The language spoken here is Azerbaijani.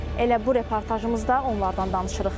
Elə bu reportajımızda onlardan danışırıq.